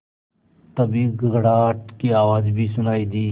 तभी गड़गड़ाहट की आवाज़ भी सुनाई दी